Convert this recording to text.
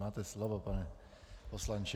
Máte slovo, pane poslanče.